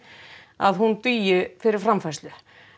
að hún dugi fyrir framfærslu